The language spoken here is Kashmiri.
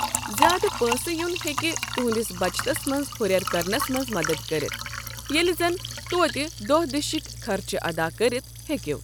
زیادٕ پٲن٘سہٕ یُن ہیكہِ تُہنٛدِس بچتَس منٛز ہُرٮ۪ر كرنس منٛز مَدد كرِتھ ییٚلہِ زن توتہِ دۄہ دِشِکۍ خرچہٕ اَدا كٔرِتھ ہیٚكو۔